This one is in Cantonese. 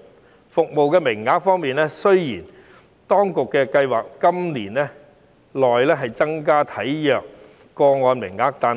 在服務名額方面，雖然當局計劃在今年內增加體弱個案的名額，但